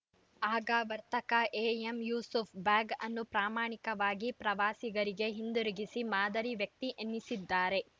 ಆಗ ವರ್ತಕ ಎಎಂಯೂಸುಫ್‌ ಬ್ಯಾಗ್‌ ಅನ್ನು ಪ್ರಾಮಾಣಿಕವಾಗಿ ಪ್ರವಾಸಿಗರಿಗೆ ಹಿಂದಿರುಗಿಸಿ ಮಾದರಿ ವ್ಯಕ್ತಿ ಎನಿಸಿದ್ದಾರೆ